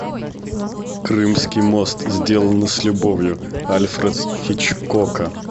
крымский мост сделано с любовью альфред хичкока